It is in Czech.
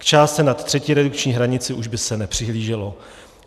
K částce nad třetí redukční hranici už by se nepřihlíželo.